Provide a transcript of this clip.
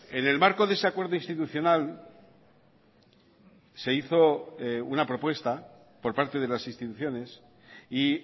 en el marco de ese acuerdo institucional se hizo una propuesta por parte de las instituciones y